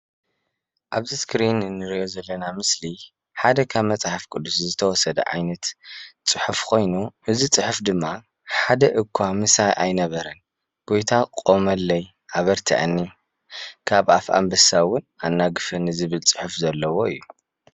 አብዚ እስክሪን እንሪኦ ዘለና ምስሊ ሓደ ካብ መፅሓፍ ቁድስ ዝተወስደ ዓይነት ፁሑፍ ኮይኑ እዚ ፁሑፍ ድማ ሓደ እዃ ምሳይ አይነበረን ጎይታ ቆመለይ አበረተዕኒ ካብ አፍ አንበሳ እውን አናግፈኒ ዝብል ፁሑፍ ዘለዎ እዩ።